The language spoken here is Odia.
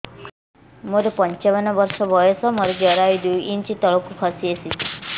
ମୁଁ ପଞ୍ଚାବନ ବର୍ଷ ବୟସ ମୋର ଜରାୟୁ ଦୁଇ ଇଞ୍ଚ ତଳକୁ ଖସି ଆସିଛି